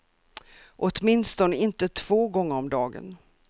Åtminstone inte två gånger om dagen.